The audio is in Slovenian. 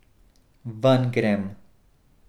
Ven grem!